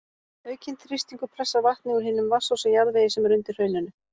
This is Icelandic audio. Aukinn þrýstingur pressar vatnið úr hinum vatnsósa jarðvegi sem er undir hrauninu.